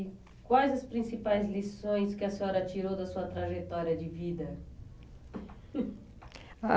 E quais as principais lições que a senhora tirou da sua trajetória de vida? Hum, ah